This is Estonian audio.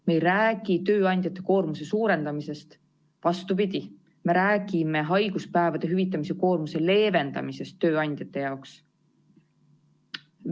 Me ei räägi tööandjate koormuse suurendamisest, vastupidi, me räägime haiguspäevade hüvitamise koormuse leevendamisest tööandjate jaoks.